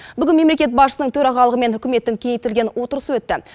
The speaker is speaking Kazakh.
бүгін мемлекет басшысының төрағалығымен үкіметтің кеңейтілген отырысы өтті